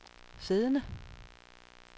siddende